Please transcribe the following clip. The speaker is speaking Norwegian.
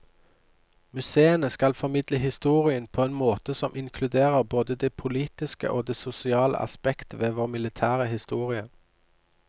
Museene skal formidle historien på en måte som inkluderer både det politiske og det sosiale aspekt ved vår militære historie.